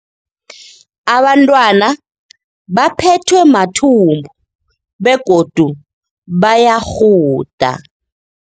Abantwana baphethwe mathumbu begodu bayarhuda.